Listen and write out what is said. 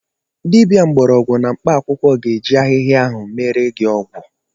Dibia mbọrọgwụ na mkpaakwụkwọ ga eji ahịhịa ahụ meere gị ọgwụ.